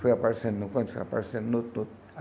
Foi aparecendo no canto, foi aparecendo no todo.